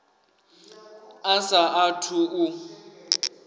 a sa a thu u